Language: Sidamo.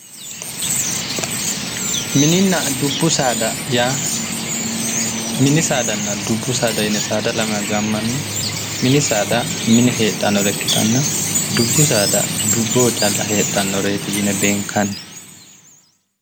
mininna dubbu saada yaa mini saadanna dubbu saada yine saada lamewa gaammanni mini saada mine heedhannore ikkitanna dubbu saada dubboho calla heedhannoreeti yine beenkanni.